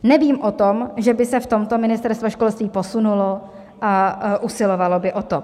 Nevím o tom, že by se v tomto Ministerstvo školství posunulo a usilovalo by o to.